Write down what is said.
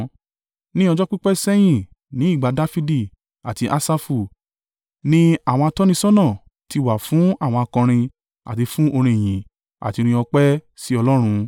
Ní ọjọ́ pípẹ́ sẹ́yìn ní ìgbà Dafidi àti Asafu, ni àwọn atọ́nisọ́nà ti wà fún àwọn akọrin àti fún orin ìyìn àti orin ọpẹ́ sí Ọlọ́run.